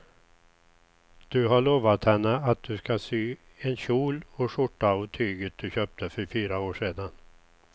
Du har lovat henne att du ska sy en kjol och skjorta av tyget du köpte för fyra år sedan.